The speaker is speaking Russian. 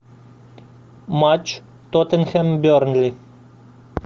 матч тоттенхэм бернли